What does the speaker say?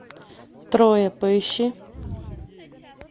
троя поищи